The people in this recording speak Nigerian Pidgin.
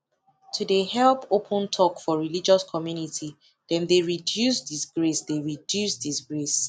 to dey help open talk for religious communty dem dey reduce disgrace dey reduce disgrace